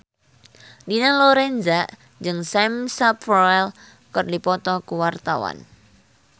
Dina Lorenza jeung Sam Spruell keur dipoto ku wartawan